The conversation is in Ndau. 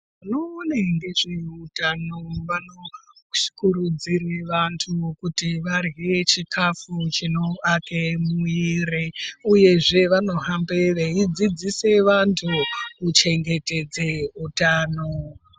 Vanoona ngezveutano vanokurudzire vantu kuti varye chikafu chinovake mwiiri uyezve vanohambe veidzidzise vantu kuchengetedze utano.